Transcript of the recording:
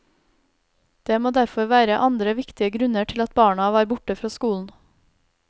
Det må derfor være andre viktige grunner til at barna var borte fra skolen.